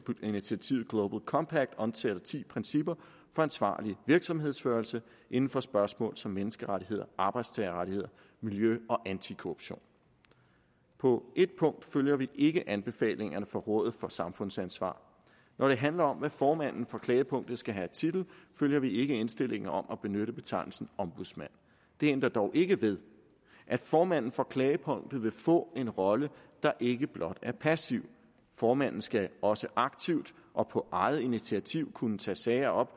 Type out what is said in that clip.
initiativet global compact omtaler ti principper for ansvarlig virksomhedsledelse inden for spørgsmål som menneskerettigheder arbejdstagerrettigheder miljø og antikorruption på et punkt følger vi ikke anbefalingerne fra rådet for samfundsansvar når det handler om hvad formanden for klagepunktet skal have af titel følger vi ikke indstillingen om at benytte betegnelsen ombudsmand det ændrer dog ikke ved at formanden for klagepunktet vil få en rolle der ikke blot er passiv formanden skal også aktivt og på eget initiativ kunne tage sager op